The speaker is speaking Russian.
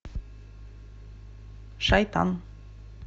шайтан